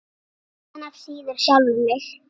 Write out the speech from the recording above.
Þaðan af síður sjálfan sig.